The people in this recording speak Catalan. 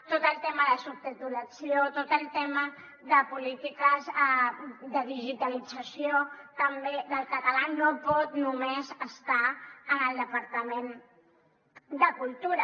tot el tema de subtitulació tot el tema de polítiques de digitalització també del català no pot només estar en el departament de cultura